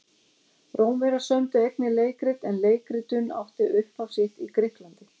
Rómverjar sömdu einnig leikrit en leikritun átti upphaf sitt í Grikklandi.